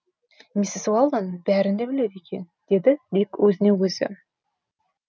миссис уэлдон бәрін де біледі екен деді дик өзіне өзі